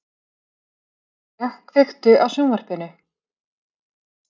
Dilja, kveiktu á sjónvarpinu.